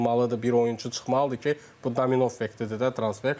Bir oyunçu çıxmalıdır ki, bu domino effektdir də transfer.